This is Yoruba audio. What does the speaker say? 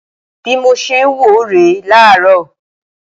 Bi mo ṣe ń wò ó rè é láàárọ̀